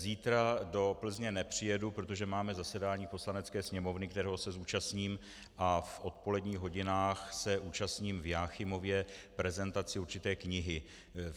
Zítra do Plzně nepřijedu, protože máme zasedání Poslanecké sněmovny, kterého se zúčastním, a v odpoledních hodinách se účastním v Jáchymově prezentace určité knihy.